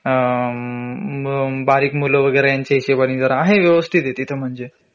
अ बारीक मुलं वगैरे यांच्या हिशोबाने जरा आहे व्यवस्थित आहे तिथं म्हंजे